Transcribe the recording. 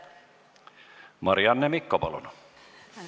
Marianne Mikko, palun!